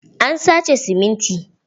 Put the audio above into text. An sace siminti.